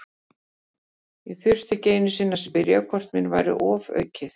Ég þurfti ekki einu sinni að spyrja hvort mér væri ofaukið.